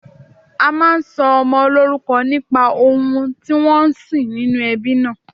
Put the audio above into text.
A máa ń sọmọ lórúkọ nípa ohun tí wọ́n ń sìn nínú ẹbí náà